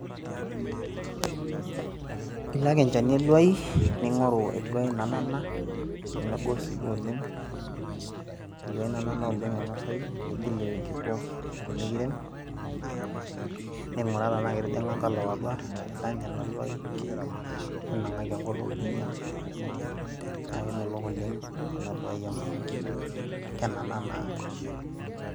Iloki ake enchani eluaai, ning'oru eluaai nanana nemegol sii duo oleng' eluaai nanana oleng' nainosayu nigil irkiku pee mikirem ning'uraa tenaa ketijing'a nkalaok atua, nidany ina luaai ninang'aki enkutuk ninya naa kemelok oleng' ena luaai amu kenana naa.